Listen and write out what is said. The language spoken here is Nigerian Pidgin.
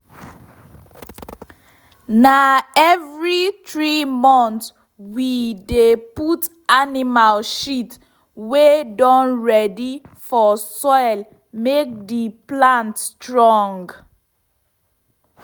na every three month we dey put animal shit wey don ready for soil make the plant strong